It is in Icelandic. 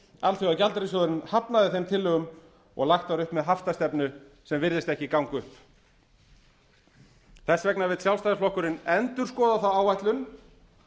alþjóðagjaldeyrissjóðurinn hafnaði þeim tillögum og lagt var upp með haftastefnu sem virðist ekki ganga upp þess vegna vill sjálfstæðisflokkurinn endurskoða þá áætlun